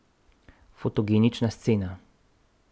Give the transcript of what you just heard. Fotogenična scena.